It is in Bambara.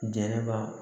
Jɛnɛba